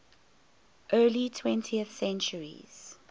early twentieth centuries